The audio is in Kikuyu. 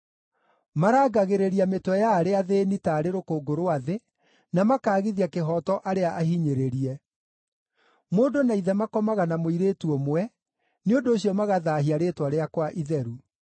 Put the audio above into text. Marangagĩrĩria mĩtwe ya arĩa athĩĩni taarĩ rũkũngũ rwa thĩ, na makaagithia kĩhooto arĩa ahinyĩrĩrie. Mũndũ na ithe makomaga na mũirĩtu ũmwe, nĩ ũndũ ũcio magathaahia rĩĩtwa rĩakwa itheru.